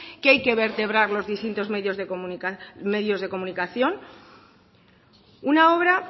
que hay que vertebrar los distintos medios de comunicación una obra